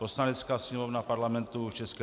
Poslanecká sněmovna Parlamentu ČR